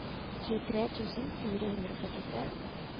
tjuetre tusen fire hundre og førtitre